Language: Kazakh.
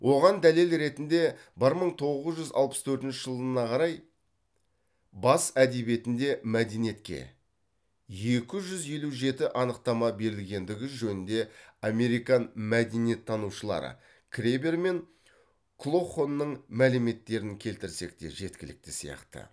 оған дәлел ретінде бір мың тоғыз жүз алпыс төртінші жылына қарай бас әдебиетінде мәдениетке екі жүз елу жеті анықтама берілгендігі жөніңде американ мәдениеттанушылары кребер мен клохонның мәліметтерін келтірсек те жеткілікті сияқты